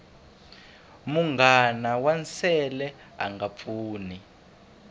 munghana wa nsele anga pfuni